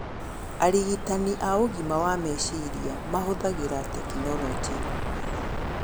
Arigitani a ũgima wa meciria mahũthagĩra tekinoronjĩ,